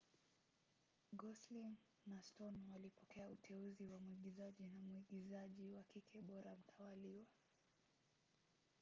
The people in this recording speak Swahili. gosling na stone walipokea uteuzi wa muigizaji na mwigizaji wa kike bora mtawalia